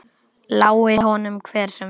Lái honum hver sem vill.